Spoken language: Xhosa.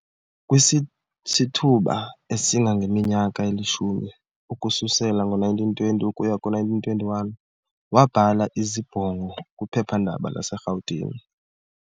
Kwisisithuba esingangeminyaka elishumi, ukususela ngo1920 ukuya ku1929, wabhala izibongo kwiphephandaba laseRhawutini